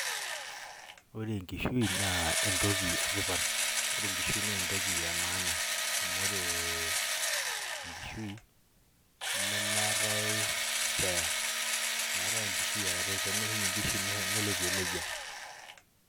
ore enkishui naa entoki etipat ore enkishui nee entoki e maana amu ore ee enkishui nemeetae spare meetae enkishui eare, tenee ninye enkishui nelotie nejia.